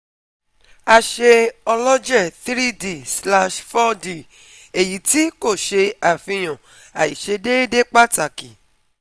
A ṣe ọlọjẹ 3D/4D eyiti ko ṣe afihan aiṣedeede pataki